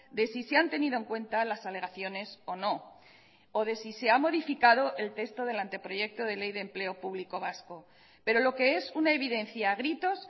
de sí se han tenido en cuenta las alegaciones o no o de si se ha modificado el texto del anteproyecto de ley de empleo público vasco pero lo que es una evidencia a gritos